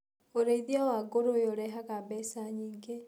ũrĩithia wa ngũrũwe ũrehaga mbeca nyingĩ.